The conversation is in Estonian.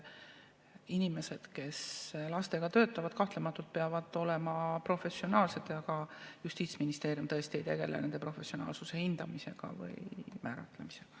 Inimesed, kes lastega töötavad, kahtlematult peavad olema professionaalsed, aga Justiitsministeerium tõesti ei tegele nende professionaalsuse hindamise või määratlemisega.